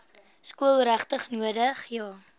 skool regtig nodig